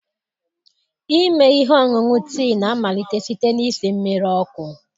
Ime ihe ọṅụṅụ tii na-amalite site na isi mmiri ọkụ.